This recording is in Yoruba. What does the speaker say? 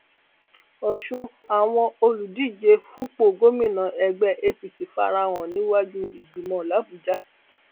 ọṣùn àwọn olùdíje fúnpọ gómìnà ẹgbẹ apc fara hàn níwájú ìgbìmọ làbújá